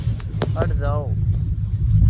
हट जाओ